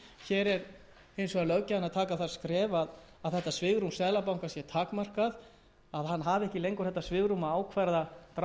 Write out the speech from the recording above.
hér tekur hins vegar löggjafinn það skref að þetta svigrúm seðlabankans sé takmarkað að hann hafi ekki lengur það svigrúm að ákvarða